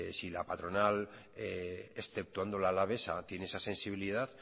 si la patronal exceptuando la alavesa tiene esa sensibilidad